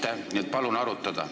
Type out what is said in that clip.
Ma tahaks, nii et palun arutage.